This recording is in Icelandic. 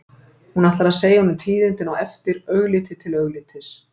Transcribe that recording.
Hún ætlar svo að segja honum tíðindin á eftir, augliti til auglitis.